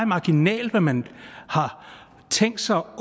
marginalt hvad man har tænkt sig